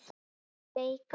Við áttum að leika dýr.